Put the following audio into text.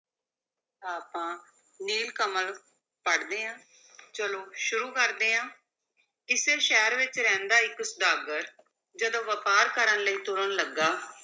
ਆਪਾਂ ਨੀਲ ਕਮਲ ਪੜ੍ਹਦੇ ਹਾਂ ਚਲੋ ਸ਼ੁਰੂ ਕਰਦੇ ਹਾਂ, ਕਿਸੇ ਸ਼ਹਿਰ ਵਿੱਚ ਰਹਿੰਦਾ ਇੱਕ ਸੁਦਾਗਰ ਜਦੋਂ ਵਪਾਰ ਕਰਨ ਲਈ ਤੁਰਨ ਲੱਗਾ,